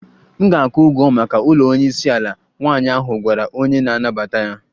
M ga-akwụ ụgwọ maka ụlọ onye isi ala, nwanyị ahụ gwara onye na-anabata ya